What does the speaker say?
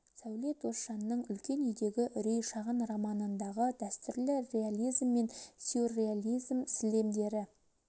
сәуле досжанның үлкен үйдегі үрей шағын романындағы дәстүрлі реализм мен сюрреализм сілемдері